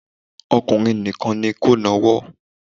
Ọkùnrin nìkan ni kó nawọ́